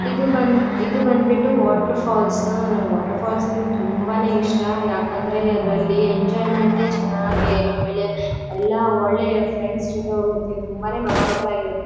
ಇದು ಬಂದ್ ಇದು ಬಂದ್ಬಿಟ್ಟು ವಾಟರ್ ಫಾಲ್ಸ್ ನನಿಗೆ ವಾಟರ್ ಫಾಲ್ಸ್ ಅಂದ್ರೆ ತುಂಬಾನೇ ಇಷ್ಟ ಯಾಕಂದರೆ ಅದರಲ್ಲಿ ಎಂಜಾಯ್ಮೆಂಟ್ ಚೆನ್ನಾಗಿ ಆಮೇಲೆ ಒಳ್ಳೆ ಫ್ರೆಂಡ್ಸ್ ಜೊತೆ ಹೋಗಿರ್ತಿವಿ ತುಂಬಾನೇ ಮೆಮೊರೇಬಲ್ ಆಗಿರುತ್ತೆ.